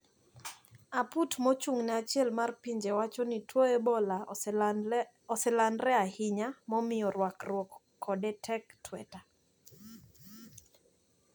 Aput mochung`ne achiel mar pinje wachoni tuo ebola oselandre ahinya momiyo rakruok kode tek tweta.